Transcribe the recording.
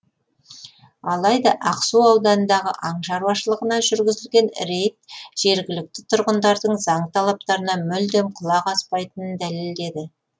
алайда ақсу ауданындағы аң шаруашылығына жүргізілген рейд жергілікті тұрғындардың заң талаптарына мүлдем құлақ аспайтынын дәлелдеді